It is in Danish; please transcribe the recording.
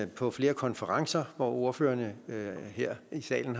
på flere konferencer hvor ordførerne her i salen